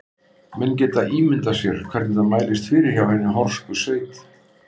Menn geta ímyndað sér hvernig það mælist fyrir hjá hinni horsku sveit.